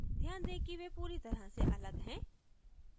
ध्यान दें कि वे पूरी तरह से अलग हैं